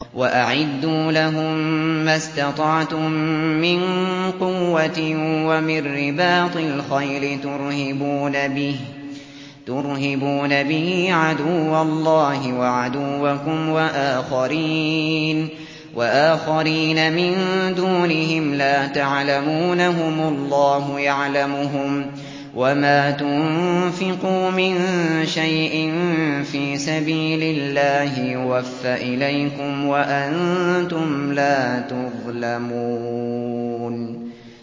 وَأَعِدُّوا لَهُم مَّا اسْتَطَعْتُم مِّن قُوَّةٍ وَمِن رِّبَاطِ الْخَيْلِ تُرْهِبُونَ بِهِ عَدُوَّ اللَّهِ وَعَدُوَّكُمْ وَآخَرِينَ مِن دُونِهِمْ لَا تَعْلَمُونَهُمُ اللَّهُ يَعْلَمُهُمْ ۚ وَمَا تُنفِقُوا مِن شَيْءٍ فِي سَبِيلِ اللَّهِ يُوَفَّ إِلَيْكُمْ وَأَنتُمْ لَا تُظْلَمُونَ